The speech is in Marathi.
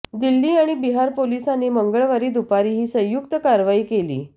दिल्ली आणि बिहार पोलिसांनी मंगळवारी दुपारी ही संयुक्त कारवाई केली